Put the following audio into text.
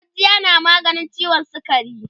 gujjiya na maganin ciwon sukari